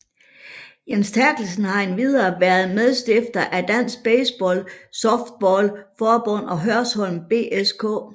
Jens Terkelsen har endvidere været medstifter af Dansk Baseball Softball Forbund og Hørsholm BSK